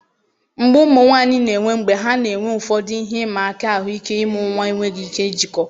mgbu ụmụ nwanyị na-enwe mgbe ha na-enwe ụfọdụ ihe ịma aka ahụike ịmụ nwa enweghị ike ijikọ.